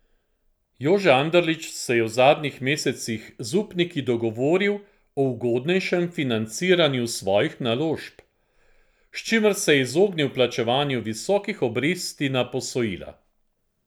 Jože Anderlič se je v zadnjih mesecih z upniki dogovoril o ugodnejšem financiranju svojih naložb, s čimer se je izognil plačevanju visokih obresti na posojila.